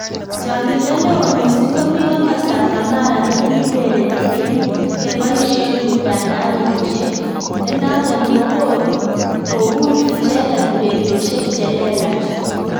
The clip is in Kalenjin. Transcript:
Chang'indo neo mising komi komostab kamara ne kiurereni en keboisien mutandaoisiek, ne noton ko kogur icheget ureriosiek che lelach